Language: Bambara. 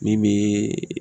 Min bee